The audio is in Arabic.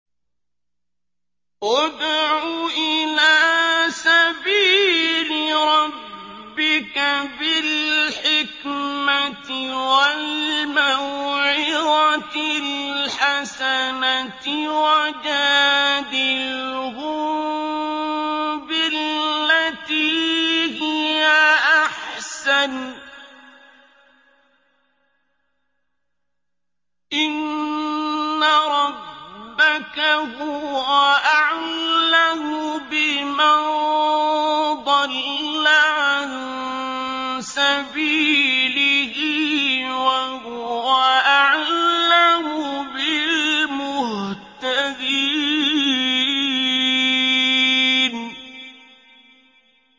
ادْعُ إِلَىٰ سَبِيلِ رَبِّكَ بِالْحِكْمَةِ وَالْمَوْعِظَةِ الْحَسَنَةِ ۖ وَجَادِلْهُم بِالَّتِي هِيَ أَحْسَنُ ۚ إِنَّ رَبَّكَ هُوَ أَعْلَمُ بِمَن ضَلَّ عَن سَبِيلِهِ ۖ وَهُوَ أَعْلَمُ بِالْمُهْتَدِينَ